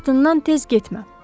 Vaxtından tez getmə.